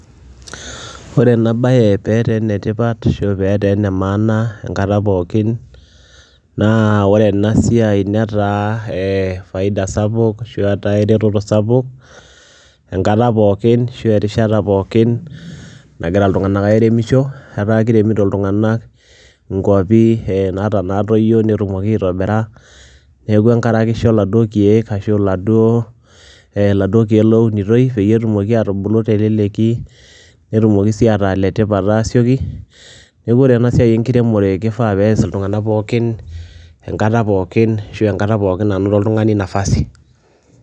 Ore ena baye pee etaa ene tipat ashu pee etaa ene maana enkata pookin naa ore ena siai netaa ee faida sapuk ashu etaa eretoto sapuk enkata pookin ashu erishata pookin nagira iltung'anak airemisho, etaa kiremito iltung'anak nkuapi ee naataa naatoyio netumoki aitobira, neeku enkare ake isho iladuo keek ashu laduo ee iladuo keek lounitoi peyie etumoki aatubulu teleleki netumoki sii ataa ile tipat aasioki. Neeku ore ena siai enkiremore kifaa pees iltung'anak pookin enkata pookin ashu enkata pookin nanoto oltung'ani nafasi.